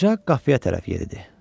Qoca qapıya tərəf yeridi.